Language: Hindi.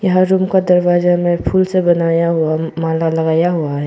हर रूम का दरवाजा में फूल से बनाया हुआ माला लगाया हुआ है।